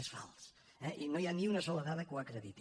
és fals eh i no hi ha ni una sola dada que ho acrediti